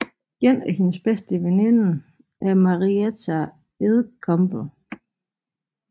En af hendes bedste veninde er Marietta Edgecombe